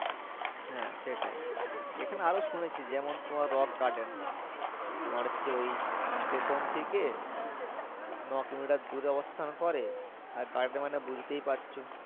হ্যাঁ সেটাই এখানে অনেক শুয়েছি যেমন তোমার rock garden তোমার হচ্ছে ওই station থাকে নয় কিলোমিটার দূরে অবস্থান করে আর যার জামান বুঝতেপারছো।